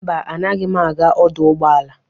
Mba, anaghị m aga ọdụ ụgbọala.